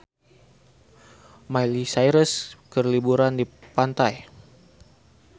Miley Cyrus keur liburan di pantai